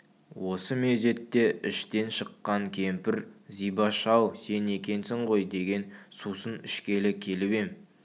осы мезетте іштен шыққан кемпір зибаш-ау сен екенсің ғой деген сусын ішкелі келіп ем